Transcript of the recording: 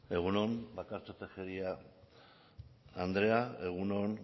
egun on bakartxo tejeria andrea egun on